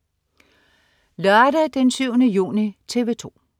Lørdag den 7. juni - TV 2: